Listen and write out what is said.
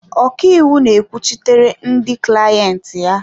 Ọkaiwu na-ekwuchitere ndị clayenti ha.